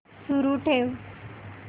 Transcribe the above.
सुरू ठेव